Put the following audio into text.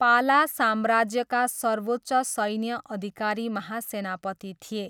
पाला साम्राज्यका सर्वोच्च सैन्य अधिकारी महासेनापति थिए।